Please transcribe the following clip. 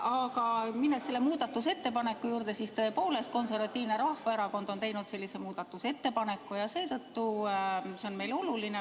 Aga tulles selle muudatusettepaneku juurde, siis tõepoolest, Eesti Konservatiivne Rahvaerakond on sellise muudatusettepaneku teinud ja seetõttu on see meile oluline.